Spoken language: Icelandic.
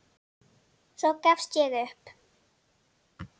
Svo gafst ég upp.